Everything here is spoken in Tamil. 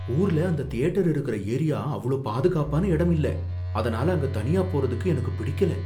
ஊர்ல அந்தத் தியேட்டர் இருக்கிற ஏரியா அவ்ளோ பாதுகாப்பான இடம் இல்ல, அதனால அங்க தனியாப் போறதுக்கு எனக்குப் பிடிக்கல